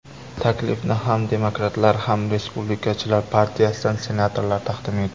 Taklifni ham Demokratlar, ham Respublikachilar partiyasidan senatorlar taqdim etdi.